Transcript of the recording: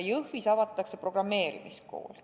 Jõhvis avatakse programmeerimiskool.